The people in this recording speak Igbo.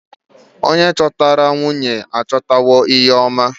Onye chọtara nwunye achọtawo ihe oma.